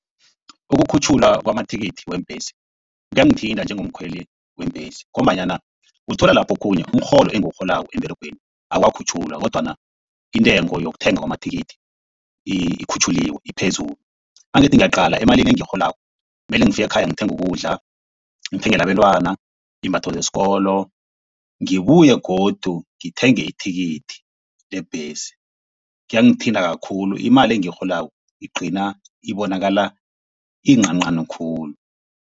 Ukukhutjhulwa kwamathikithi weembhesi kuyangithinta njengomkhweli weembhesi ngombanyana uthola lapho okhunye umrholo engiwurholako emberegweni awukakhutjhulwa kodwana intengo yokuthenga amathikithi ikhutjhuliwe iphezulu. Nangithi ngiyaqala emalini engiyirholako mele ngifike ekhaya ngithenge ukudla. Ngithengele abantwana iimbatho zesikolo. Ngibuye godu ngithenge ithikithi lebhesi. Kuyangithinta kakhulu imali engiyirholako igcina ibonakala iyincancani khulu.